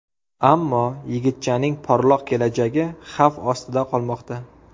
Ammo yigitchaning porloq kelajagi xavf ostida qolmoqda.